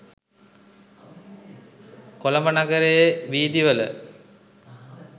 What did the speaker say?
කොළඹ නගරයේ වීදි වල